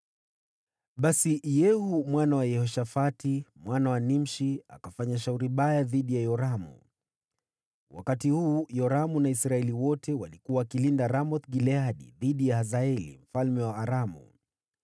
Basi Yehu mwana wa Yehoshafati, mwana wa Nimshi, akafanya shauri baya dhidi ya Yoramu. (Wakati huu, Yoramu na Israeli wote walikuwa wakiilinda Ramoth-Gileadi dhidi ya Hazaeli mfalme wa Aramu,